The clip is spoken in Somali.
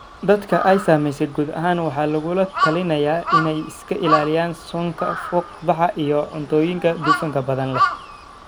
Dadka ay saamaysay guud ahaan waxa lagula talinayaa inay iska ilaaliyaan soonka, fuuq-baxa, iyo cuntooyin dufan badan leh.